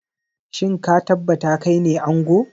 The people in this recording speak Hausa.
Shin ka tabbata kaine ango?